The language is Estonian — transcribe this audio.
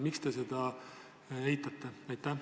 Miks te seda eitate?